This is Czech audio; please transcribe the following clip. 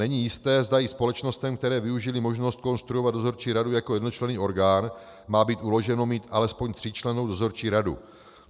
Není jisté, zda i společnostem, které využily možnost konstruovat dozorčí radu jako jednočlenný orgán, má být uloženo mít alespoň tříčlennou dozorčí radu.